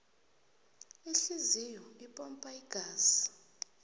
ihliziyo ipampa igazi